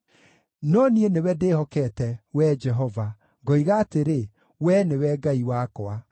No niĩ nĩwe ndĩhokete, Wee Jehova, ngoiga atĩrĩ, “Wee nĩwe Ngai wakwa.”